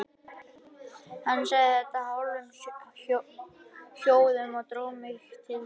Hann sagði þetta í hálfum hljóðum og dró mig til sín.